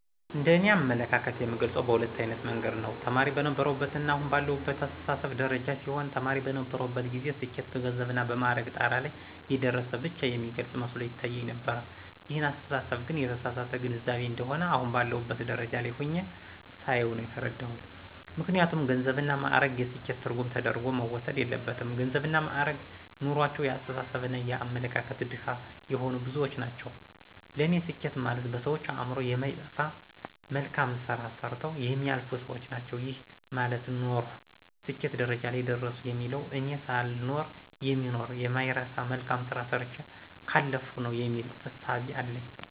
እንደ እኔ አመለካከት የምገልጸው በሁለት አይነት መንገድ ነው። ተማሪ በነበርሁበትና አሁን ባለሁበት አስተሳሰብ ደረጃ ሲሆን ተማሪ በነበርሁበት ጊዜ ስኬት በገንዘብና በማዕረግ ጣራ ላይ የደረሰ ብቻ የሚገልፅ መስሎ ይታየኝ ነበር ይህን አስተሳሰብ ግን የተሳሳተ ግንዛቤ እንደሆነ አሁን ባለሁበት ደረጃ ላይ ሁኘ ሳየው ነው የተረዳሁት። ምክንያቱም ገንዘብና ማእረግ የስኬት ትርጉም ተደርጎ መወሰድ የለበትም ገንዘብና ማእረግ ኑሮአቸው የአስተሳሰብና የአመለካከት ድሀ የሆኑ ብዙዎች ናቸው ለኔ ስኬት ማለት በሰዎች አእምሮ የማይጠፋ መልካም ስራ ሰርተው የሚያልፉ ሰዎች ናቸው። ይሄ ማለት ኖርሁ ስኬት ደረጃ ላይ ደረሰሁ የሚባለው እኔ ሳልኖር የሚኖር የማይረሳ መልካም ስራ ሰርቸ ካለፍሁ ነው የሚል እሳቤ አለኝ።